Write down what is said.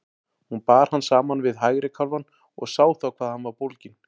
Hún bar hann saman við hægri kálfann og sá þá hvað hann var bólginn.